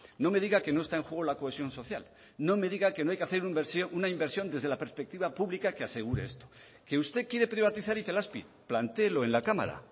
no me diga que no está en juego la cohesión social no me diga que no hay que hacer una inversión desde la perspectiva pública que asegure esto que usted quiere privatizar itelazpi plantéelo en la cámara